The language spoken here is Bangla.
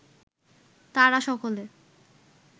তারা সকলে